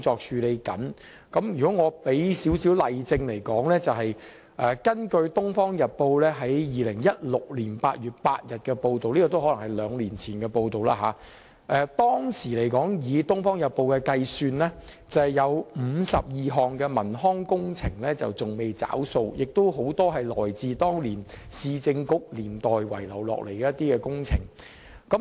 如果要我給予少許例證，我可引述《東方日報》2016年8月8日的報道，這是兩年前的報道。當時《東方日報》計算，共有52項文康工程仍未"找數"，有很多是來自兩個市政局年代遺留下來的工程。